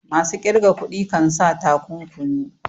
masu ƙirga kuɗi kansa takunkumi